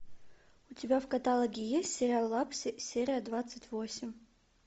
у тебя в каталоге есть сериал лапси серия двадцать восемь